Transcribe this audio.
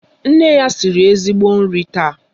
Nne ya siri ezigbo nri taa.